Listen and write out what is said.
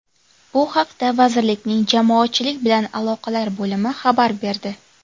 Bu haqda vazirlikning Jamoatchilik bilan aloqalar bo‘limi xabar berdi.